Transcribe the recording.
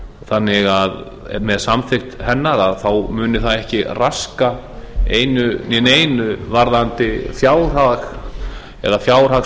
þannig að með samþykkt hennar muni það ekki raska einu né neinu varðandi fjárhag eða